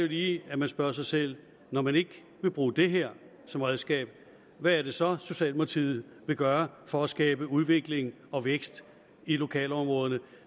lige at man spørger sig selv når man ikke vil bruge det her som redskab hvad er det så socialdemokratiet vil gøre for at skabe udvikling og vækst i lokalområderne